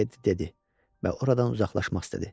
Teddi dedi və oradan uzaqlaşmaq istədi.